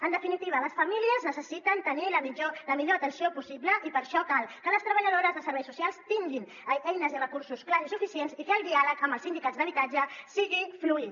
en definitiva les famílies necessiten tenir la millor atenció possible i per això cal que les treballadores de serveis socials tinguin eines i recursos clars i suficients i que el diàleg amb els sindicats d’habitatge sigui fluid